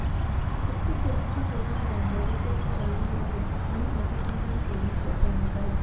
प्रत्येक गल्लीच्या टोकाला बॅरिकेड्स लागले आहेत आणि मोठ्या संख्येने पोलिस दल तैनात आहे